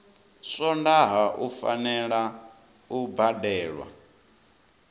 swondaha u fanela u badelwa